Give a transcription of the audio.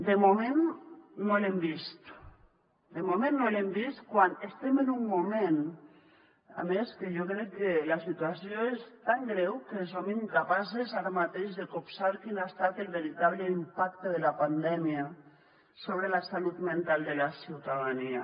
de moment no l’hem vist de moment no l’hem vist quan estem en un moment a més que jo crec que la situació és tan greu que som incapaces ara mateix de copsar quin ha estat el veritable impacte de la pandèmia sobre la salut mental de la ciutadania